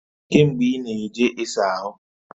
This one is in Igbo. Kee mgbe i na-eje i saa ahu?